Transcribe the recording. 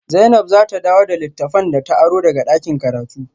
Zainab za ta dawo da littafan da ta aro daga dakin karatu